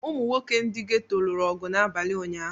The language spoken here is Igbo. Ụmụ nwoke ndị ghetto lụrụ ọgụ n’abalị ụnyahụ.